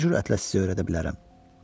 Nə cürətlə sizi öyrədə bilərəm?